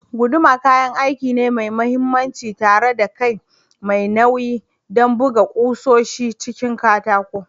Eh, guduma kayan aiki ne mai mahimmanci tare da kai mai nauyi don buga ƙusoshin cikin katako.